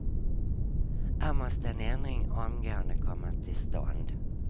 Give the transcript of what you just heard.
Här måste en ändring omgående komma till stånd.